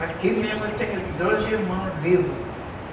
Aqui mesmo eu tenho doze irmãos vivos.